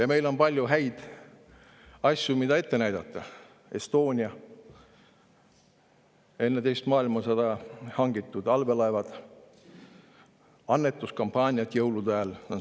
Ja meil on palju häid asju, mida ette näidata: Estonia, enne teist maailmasõda hangitud allveelaevad, annetuskampaaniad jõulude ajal.